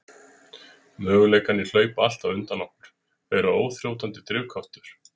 Möguleikarnir hlaupa alltaf undan okkur, þeir eru óþrjótandi drifkraftur.